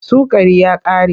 Sukari ya ƙare.